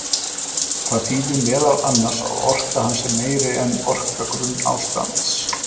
Það þýðir meðal annars að orka hans er meiri en orka grunnástands.